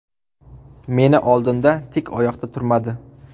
Meni oldimda tik oyoqda turmadi.